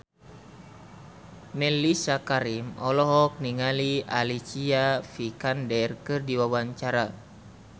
Mellisa Karim olohok ningali Alicia Vikander keur diwawancara